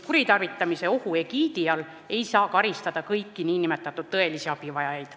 Kuritarvitamise ohu tõttu ei saa karistada kõiki tõelisi abivajajaid.